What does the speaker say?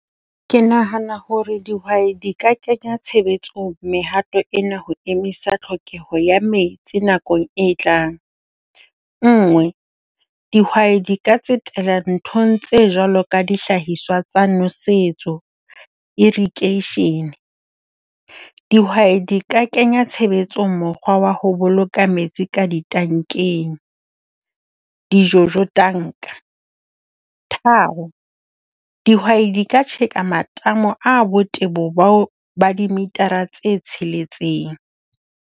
Ke nahana ho re dihwai di ka kenya tshebetsong mehato ena ho emisa tlhokeho ya metsi nakong e tlang. Nngwe, dihwai di ka tsetela nthong tse jwalo ka dihlahiswa tsa nwesetso, irikeeshene. Dihwai di ka kenya tshebetsong mokgwa wa ho boloka metsi ka ditankeng, di-jojo tanka. Tharo, dihwai di ka tjheka matamo a botebo ba dimitara tse tsheletseng.